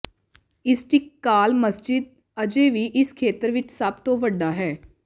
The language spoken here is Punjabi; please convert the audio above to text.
ਇਸਸਟਿਕਲਾਲ ਮਸਜਿਦ ਅਜੇ ਵੀ ਇਸ ਖੇਤਰ ਵਿਚ ਸਭ ਤੋਂ ਵੱਡਾ ਹੈ